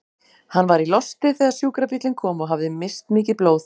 Hann var í losti þegar sjúkrabíllinn kom og hafði misst mikið blóð.